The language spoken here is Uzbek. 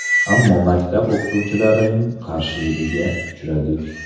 Ammo maktab o‘qituvchilarining qarshiligiga uchradik.